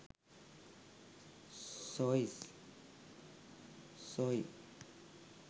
soie